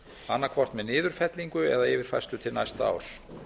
annað hvort með niðurfellingu eða yfirfærslu til næsta árs